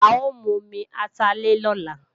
A ó mu omi atalẹ̀ lọ́la